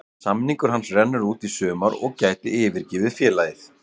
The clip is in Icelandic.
Samningur hans rennur út í sumar og gæti yfirgefið félagið.